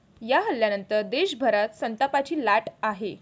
या हल्ल्यानंतर देशभरात संतापाची लाट आहे.